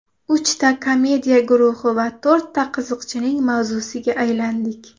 Uchta komediya guruhi va to‘rtta qiziqchining mavzusiga aylandik.